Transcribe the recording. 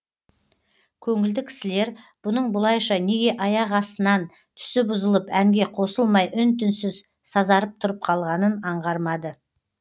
көңілді кісілер бұның бұлайша неге аяқ астынан түсі бұзылып әнге қосылмай үн түнсіз сазарып тұрып қалғанын аңғармады